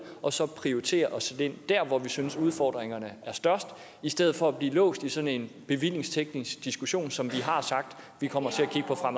og så prioritere og sætte ind der hvor vi synes udfordringerne er størst i stedet for at blive låst i sådan en bevillingsteknisk diskussion som vi har sagt vi kommer til